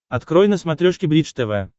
открой на смотрешке бридж тв